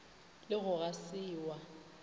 le go ga se wa